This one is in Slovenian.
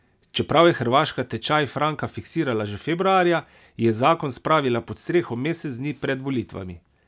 Čeprav je Hrvaška tečaj franka fiksirala že februarja, je zakon spravila pod streho mesec dni pred volitvami.